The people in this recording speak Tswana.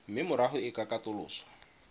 mme morago e ka katoloswa